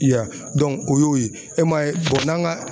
I ya o y'o ye, e m'a ye n'an ka